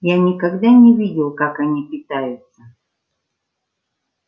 я никогда не видел как они питаются